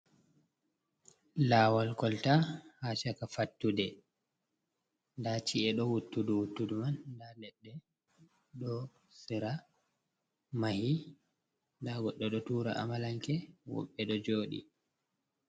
Lawal kolta ha shaka fattude ɗa ci’e do wuttudu wuttudu man da leɗɗe do sira mahi da goddo do tura amalanke woɓɓe ɗo jodi.